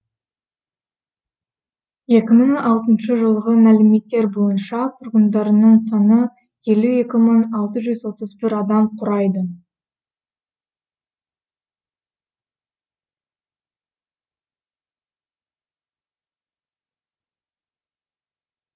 екі мың алтыншы жылғы мәліметтер бойынша тұрғындарының саны елу екі мың алты жүз отыз бір адам құрайды